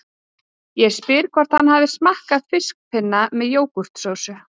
Ég spyr hvort hann hafi smakkað fiskpinna með jógúrtsósu